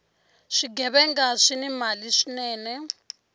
swighevenga swini mali swinene